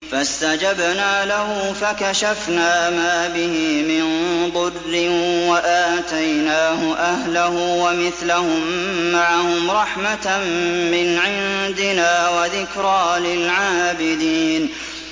فَاسْتَجَبْنَا لَهُ فَكَشَفْنَا مَا بِهِ مِن ضُرٍّ ۖ وَآتَيْنَاهُ أَهْلَهُ وَمِثْلَهُم مَّعَهُمْ رَحْمَةً مِّنْ عِندِنَا وَذِكْرَىٰ لِلْعَابِدِينَ